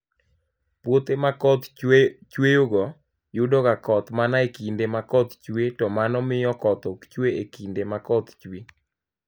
Puothe ma koth chueyogo, yudoga koth mana e kinde ma koth chue, to mano miyo koth ok chue e kinde ma koth chwe.